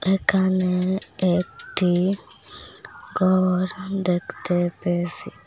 এখানে একটি ঘর দেখতে পেয়েসি।